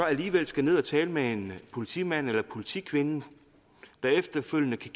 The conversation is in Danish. alligevel skal ned at tale med en politimand eller politikvinde der efterfølgende kan